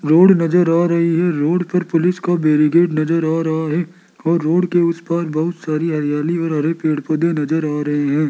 Road नजर आ रही है रोड पर पुलिस को बेरिकेट नजर हो रहा है और रोड के उसे पर बहुत सारी हरियाली और हरे पेड़ पौधे नजर आ रहे हैं।